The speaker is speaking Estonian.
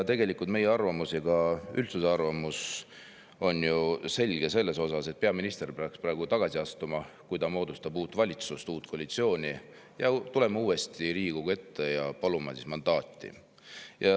Meie arvamus ja ka üldsuse arvamus on ju selge: peaminister peaks praegu tagasi astuma, kui ta moodustab uut valitsust, uut koalitsiooni, ja tulema uuesti Riigikogu ette, et paluda mandaati.